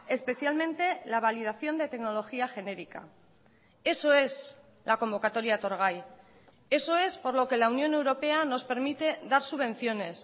especialmente la validación de tecnología genérica eso es la convocatoria etorgai eso es por lo que la unión europea nos permite dar subvenciones